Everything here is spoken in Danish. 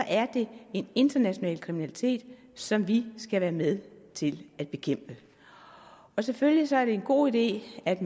er det en international kriminalitet som vi skal være med til at bekæmpe selvfølgelig er det en god idé at